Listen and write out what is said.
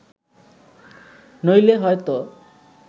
নইলে হয়ত